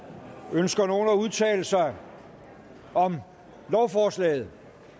ønsker nogen at udtale sig om lovforslaget